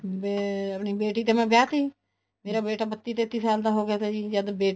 ਅਮ ਆਪਣੀ ਬੇਟੀ ਤੇ ਮੈਂ ਵਿਆਹ ਤੀ ਮੇਰਾ ਬੇਟਾ ਬੱਤੀ ਤੇਤੀ ਸਾਲ ਦਾ ਹੋਗਿਆ ਸੀ ਜੀ ਜਦ ਬੇਟੀ